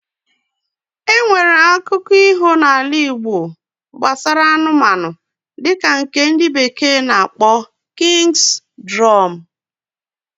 Enwere akụko iho na ala igbo nbasara anụmanụ dika nke ndi bekee na akpo King's Drum